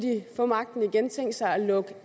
få magten igen tænkt sig at lukke